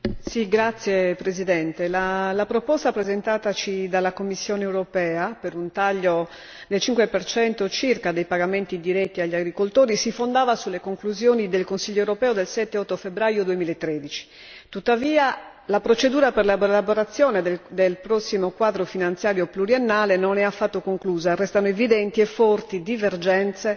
Signor Presidente, onorevoli colleghi, la proposta presentataci dalla Commissione europea per un taglio del 5 circa dei pagamenti diretti agli agricoltori si fondava sulle conclusioni del Consiglio europeo del 7 e 8 febbraio 2013. Tuttavia la procedura per l'elaborazione del prossimo quadro finanziario pluriennale non è affatto conclusa, restano evidenti forti divergenze